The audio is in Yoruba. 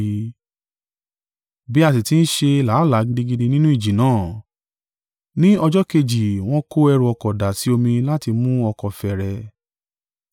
Bí a sì ti ń ṣe làálàá gidigidi nínú ìjì náà, ni ọjọ́ kejì wọn kó ẹrù-ọkọ̀ dà sí omi láti mú ọkọ̀ fẹ́rẹ̀.